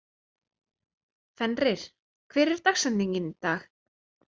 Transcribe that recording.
Fenrir, hver er dagsetningin í dag?